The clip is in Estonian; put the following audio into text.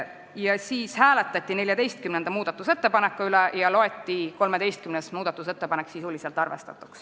Seejärel hääletati 14. muudatusettepaneku üle ja loeti 13. muudatusettepanek sisuliselt arvestatuks.